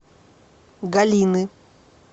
галины